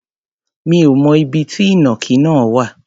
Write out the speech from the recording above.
Mi ò mọ ibi tí ìnàkí náà wà.